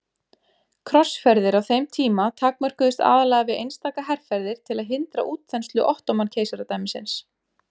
Krossferðir á þeim tíma takmörkuðust aðallega við einstaka herferðir til að hindra útþenslu Ottóman-keisaradæmisins.